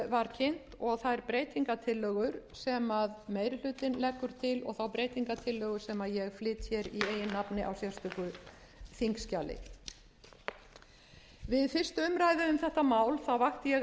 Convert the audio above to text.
kynnt og þær breytingartillögur sem meiri hlutinn leggur til og þá breytingartillögu sem ég flyt hér í eigin nafni á sérstöku þingskjali við fyrstu umræðu um þetta mál vakti ég